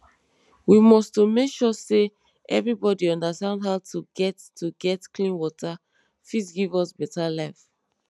we must to make sure say everybodi understand how to get to get clean water fit give us beta life